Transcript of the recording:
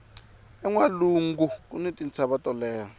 enwalungu kuni tintshava to leha